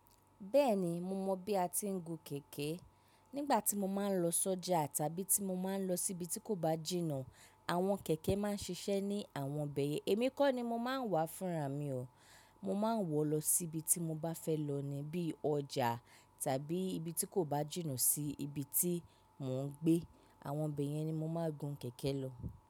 Bẹ́ẹ̀ni, mo mọ bí a ti ń gun kẹ̀kẹ́. Nígbà tí mo máa ń lọ sọ́jà tàbí tí mo máa ń lọ síbi tí kò bá jìnà, àwọn kẹ̀kẹ́ máa ń ṣiṣẹ́ ní àwọn bẹ̀yẹ̀. Èmi kọ́ ni mo máa ń wà fúnra mi o. Mo máa ń wọ lọ síbi tí mo bá fẹ́ lọ ni, bí i ọjà tàbí ibi tí kò bá jìnà sí ibi tí mò ń gbé. Àwọn ibẹ̀ yẹn ni mo máa ń gun kẹ̀kẹ́ lọ.